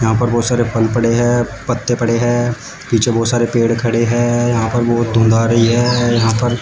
यहां पर बहोत सारे फल पड़े है पत्ते पड़े हैं। पीछे बहोत सारे पेड़ खड़े हैं यह पर बहोत धुंध आ रही है यहां पर --